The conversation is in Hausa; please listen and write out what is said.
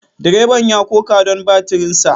Direban ya koka don batirinsa.